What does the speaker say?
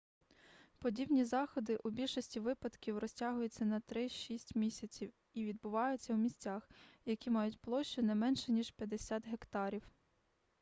подібні заходи у більшості випадків розтягуються на три-шість місяців і відбуваються у місцях які мають площу не менше ніж 50 гектарів